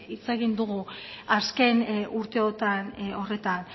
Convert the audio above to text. hitz egin dugu azken urteotan horretan